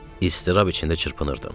İstirab içində çırpınırdım.